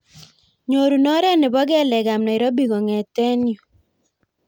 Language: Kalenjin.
Nyorun oret nebo kelek ab nairobi kongeten yu